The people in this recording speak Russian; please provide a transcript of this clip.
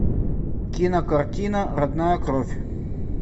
кинокартина родная кровь